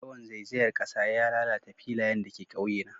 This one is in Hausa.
Yawan zaizayar kasa ya lalata filayen da ke ƙauyena